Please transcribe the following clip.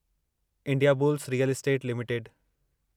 Indiabulls real estate limited